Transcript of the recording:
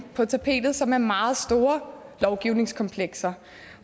på tapetet som er meget store lovgivningskomplekser